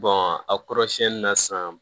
a kɔrɔsɛni na sisan